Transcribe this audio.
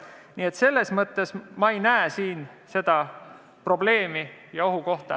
Nii et selles mõttes ma ei näe siin probleemi ega ohtu.